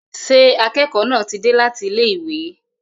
Ṣé akẹ́kọ̀ọ́ náà ti dé láti ilé ìwé?